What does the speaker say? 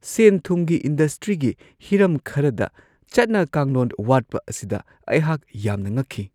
ꯁꯦꯟ-ꯊꯨꯝꯒꯤ ꯏꯟꯗꯁꯇ꯭ꯔꯤꯒꯤ ꯍꯤꯔꯝ ꯈꯔꯗ ꯆꯠꯅ-ꯀꯥꯡꯂꯣꯟ ꯋꯥꯠꯄ ꯑꯁꯤꯗ ꯑꯩꯍꯥꯛ ꯌꯥꯝꯅ ꯉꯛꯈꯤ ꯫